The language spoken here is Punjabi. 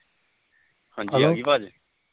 ਹਾਜੀ ਆਗੀ ਆਵਾਜ